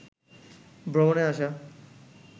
ভ্রমণে আসা